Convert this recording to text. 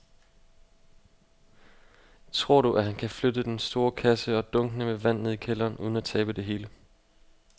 Tror du, at han kan flytte den store kasse og dunkene med vand ned i kælderen uden at tabe det hele?